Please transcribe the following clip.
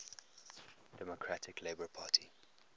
democratic labour party